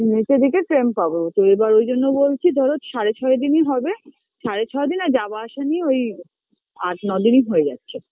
নীচের দিকে train পাব তো এবার ওই জন্য বলছি ধরো সাড়ে ছয় দিনই হবে সাড়ে ছয় দিন আর যাওয়া আসা নিয়ে ওই আট ন দিনই হয়ে যাচ্ছে